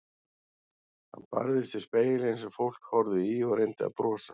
Hún barðist við spegilinn sem fólk horfði í og reyndi að brosa.